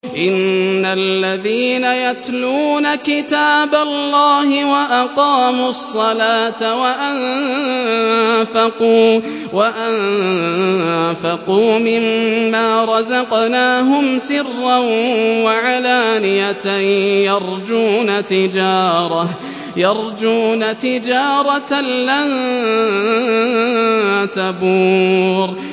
إِنَّ الَّذِينَ يَتْلُونَ كِتَابَ اللَّهِ وَأَقَامُوا الصَّلَاةَ وَأَنفَقُوا مِمَّا رَزَقْنَاهُمْ سِرًّا وَعَلَانِيَةً يَرْجُونَ تِجَارَةً لَّن تَبُورَ